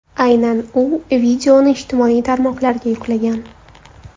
Aynan u videoni ijtimoiy tarmoqlarga yuklagan.